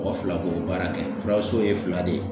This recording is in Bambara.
Mɔgɔ fila b'o baara kɛ furaso ye fila de ye.